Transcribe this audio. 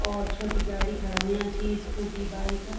और छोटी गाडी खड़ा हुयां छी स्कूटी बाइक ।